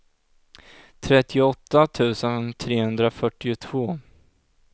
trettioåtta tusen trehundrafyrtiotvå